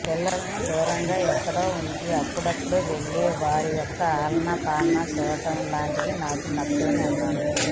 పిల్లలను దూరంగా ఎక్కడో ఉంచి అప్పుడప్పుడు వెళ్శి వాళ్ల యొక్క ఆలనాపాలనా చూడడం లాంటివి నాకు నచ్చవని అన్నారు